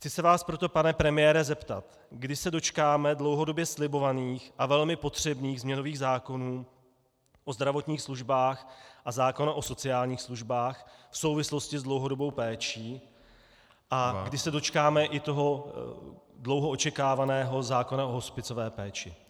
Chci se vás proto, pane premiére, zeptat, kdy se dočkáme dlouhodobě slibovaných a velmi potřebných změnových zákonů o zdravotních službách a zákona o sociálních službách v souvislosti s dlouhodobou péčí a kdy se dočkáme i toho dlouho očekávaného zákona o hospicové péči.